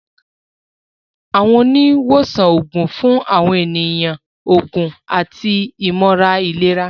Àwọn oni wosan oogun fun awọn eniyan oògùn àti imọran ilera.